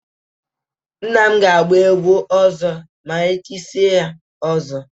Nne m ga-agba egwu ọzọ ma e chisie ya ọzọ.